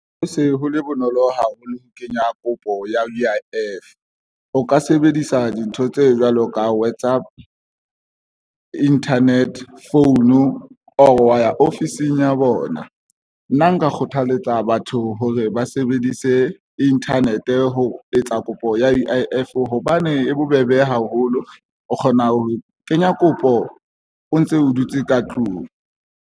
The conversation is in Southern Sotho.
Ho se ho le bonolo haholo ho kenya kopo ya U_I_F ka sebedisa dintho tse jwalo ka WhatsApp internet phone or wa ya ofising ya bona. Nna nka kgothaletsa batho hore ba sebedise internet ho etsa kopo ya U_I_F hobane e bobebe haholo, o kgona ho kenya kopo o ntse o dutse ka tlung.